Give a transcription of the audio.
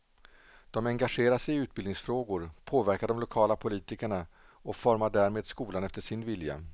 De engagerar sig i utbildningsfrågor, påverkar de lokala politikerna och formar därmed skolan efter sin vilja.